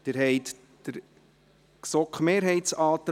Abstimmung (Art. 23 Abs. 1 Bst.